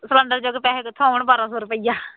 cylinder ਜੋਗੇ ਪੈਸੇ ਕਿੱਥੋਂ ਆਉਣ ਬਾਰਾਂ ਸੌ ਰੁਪਇਆ